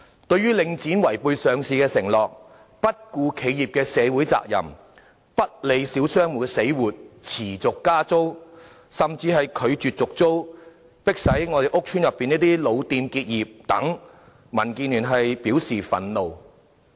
對於領展違背上市的承諾、不顧企業社會責任、不理小商戶的死活、持續加租，甚至拒絕續租，迫使屋邨內的老店結業等，民建聯表示憤怒。